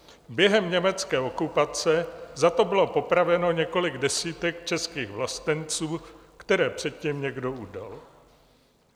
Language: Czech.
Během německé okupace za to bylo popraveno několik desítek českých vlastenců, které předtím někdo udal.